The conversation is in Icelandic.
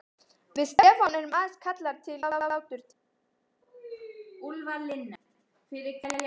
Höskuldur: Margir bílar fastir upp á heiði?